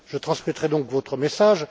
Je transmettrai donc votre message.